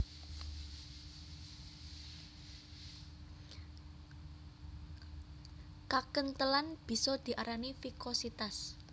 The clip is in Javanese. Kakenthelan bisa diarani vikositas